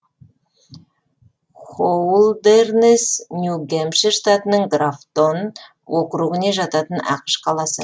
хоулдэрнесс нью гэмпшир штатының графтон округіне жататын ақш қаласы